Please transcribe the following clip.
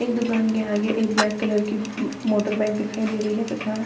इस दुकान के आगे एक ब्लैक कलर की उम्म मोटर बाइक दिखाई दे रही है तथा --